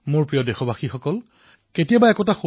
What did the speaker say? তেওঁ কৈছিল যে ভাৰতমাতাৰ ৩০ কোটিখন মুখ আছে কিন্তু শৰীৰ এক